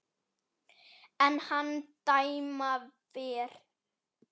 er hann dæma fer